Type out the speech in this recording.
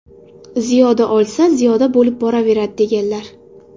Ziyoda olsa, ziyoda bo‘lib boraveradi”, deganlar.